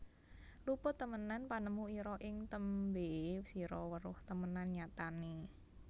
Luput temenan panemu ira ing tembe sira weruh temenan nyatane